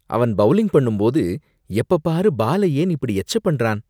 அவன் பவுலிங் பண்ணும்போது எப்ப பாரு பால ஏன் இப்படி எச்ச பண்றான்?